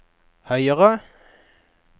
høyere